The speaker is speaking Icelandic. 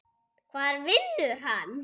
Hvar vinnur hann?